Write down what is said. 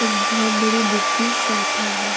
एक बहुत बड़े बुक की शॉप है ये।